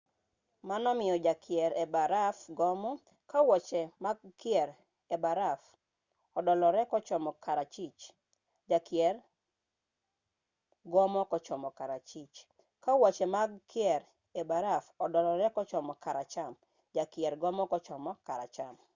mano miyo jakier e baraf gomo ka wuoche mag kier e baraf odolore kochomo kachwich jakier gomo kochomo kachwich ka wuoche mag kier e baraf odolore kochomo kacham to jakier gomo kochomo kacham